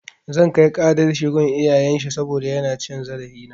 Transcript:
Zan kai ƙarar shi gun iyayen shi saboda yana cin zarafina.